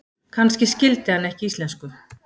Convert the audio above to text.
Kannski skildi hann ekki íslensku.